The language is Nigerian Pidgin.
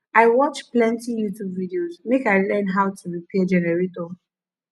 i watch plenty youtube videos make i learn how to repair generator